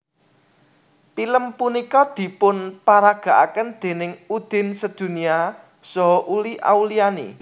Pilem punika dipun paragakaken déning Udin Sedunia saha Uli Auliani